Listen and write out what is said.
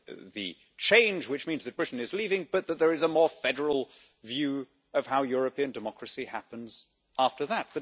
The change, which means that Britain is leaving, but that there is a more federal view of how European democracy happens after that.